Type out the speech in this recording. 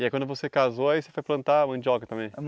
E aí quando você casou, aí você foi plantar mandioca também?